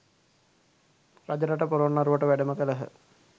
රජරට පොළොන්නරුවට වැඩම කළහ